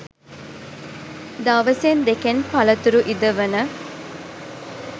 දවසෙන් දෙකෙන් පලතුරු ඉදවන